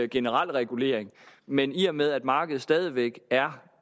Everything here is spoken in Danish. generel regulering men i og med at markedet stadig væk er